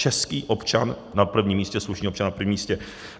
Český občan na prvním místě, slušný občan na prvním místě.